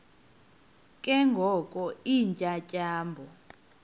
ke ngoko iintyatyambo